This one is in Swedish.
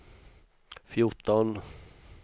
fjorton